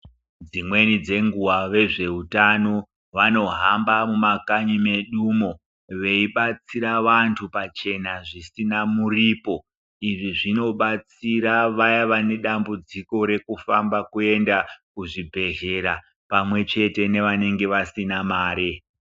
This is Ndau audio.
Dzimweni dzenguva vezveutano vanohamba mumakanyi medumo, veibatsira vantu pachena zvisina muripo. Izvi zvinobatsira vaya vane dambudziko rekufamba kuenda kuzvibhedhlera pamwechete nevanenge vasina mari.